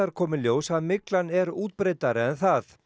kom í ljós að myglan er útbreiddari en það